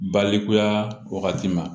Balikuya wagati ma